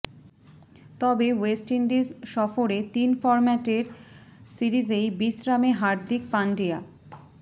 তবে West Indies সফরে তিন ফর্ম্যাটের সিরিজেই বিশ্রামে হার্দিক পান্ডিয়া